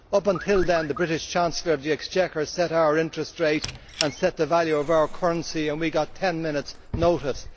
Up until then the British Chancellor of the Exchequer set our interest rate and set the value of our currency and we got ten minutes' notice.